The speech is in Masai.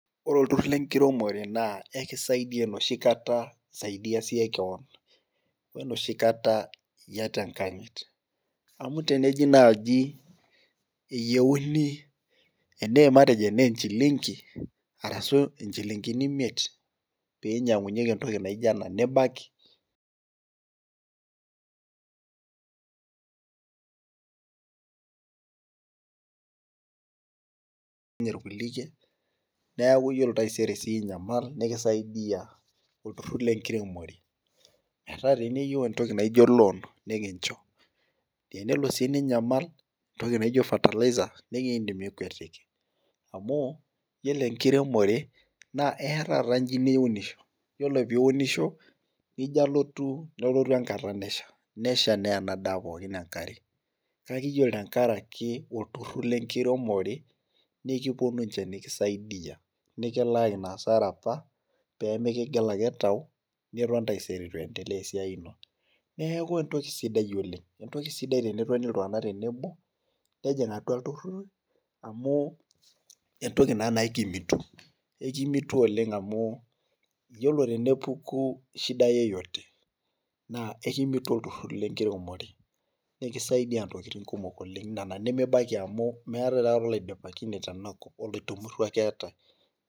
Ore olturur lenkiremore naa ekisaidia enoshi kata isaidia siiyie keon enoshi kata iyata enkanyit amu teneji eyieuni nchilinkini miet ,pee einyangunyieki entoki naijo ena nibaiki. neeku ore taisere siiyie inyamal nikisaidia olturur lenkiremore ,tenelo niyieu entoki naijo loon nikincho, teniyieu entoki naijo fataliser nindim nikwetiki amu yiolo enkiremore naa eyaa taata njii niunisho nijo alotu nelotu enkata nesha neya ena daa pookin enkare kake yiolo olturur lenkiremore naa ekiponu ninche nikisaidia ,nikilaaki ina asara apa pee mikigila ake tau niton taisere eitu iendeleaesiai ino. neeku entoki sidai entoki sidai oleng tenetoni iltunganak tenebo nejing atua iltururi amu entoki naa na ekimitu ,ekimitu amu yiolo tenepuku shida yeyote naa ekimitu olturur lenkiremore ,nikisaidia ntokiting kumok oleng nena nimibaiki amu meetae aikata oloidipakine tenakop oloitumurau ake eetae.